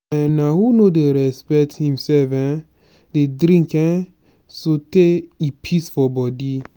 um na who no dey respect imself um dey drink um sotee e pis for bodi.